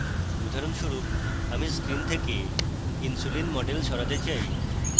উদাহরণস্বরূপ আমি screen থেকে insulin model সরাতে চাই